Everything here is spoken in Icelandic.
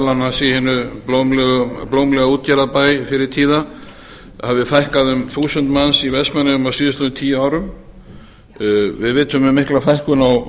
annars í hinum blómlega útgerðarbæ fyrri tíða hafi fækkað um þúsund manns í vestmannaeyjum á síðastliðnum tíu árum við vitum um mikla fækkun á vestfjörðum og